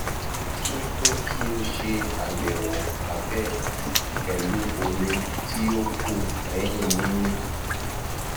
mo tun fẹ ki o ṣe ayẹwo abẹ pẹlu omi ti o ku lẹhin mimi